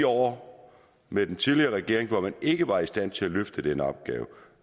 år med den tidligere regering hvor man ikke var i stand til at løfte den opgave